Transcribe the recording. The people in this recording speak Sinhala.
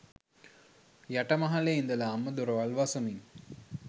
යට මහලේ ඉඳලාම දොරවල් වසමින්